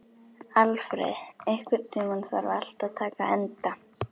Alfreð, einhvern tímann þarf allt að taka enda.